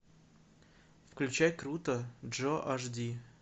включай крутой джо аш ди